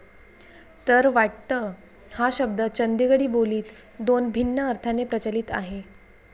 तर वाटत हा शब्द चंदगडी बो लीत दोन भिन्न अर्थाने प्रचलित आहे